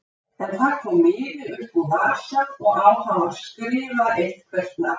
En það kom miði upp úr vasa og á hann var skrifað eitthvert nafn.